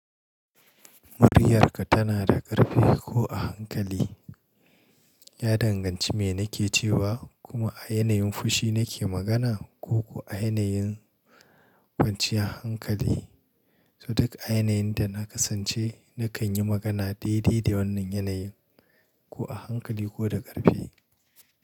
Muryarka tana da ƙarfi ko a hankali? Ya danganci me nake cewa kuma a yanayin fushi nake magana ko--ko a yanayin kwanciyar hankali. So duk a yanayin da na kasance nakan yi magana daidai da wannan yanayin, ko a hankali ko da ƙarfi.